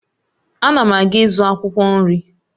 Ana m aga ịzụ akwụkwọ nri